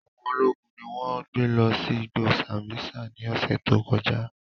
Awọn ologun ni wọn gbe lọ si igbo Sambisa ni ọsẹ to kọja.